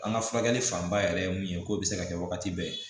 An ka furakɛli fanba yɛrɛ ye mun ye k'o bɛ se ka kɛ wagati bɛɛ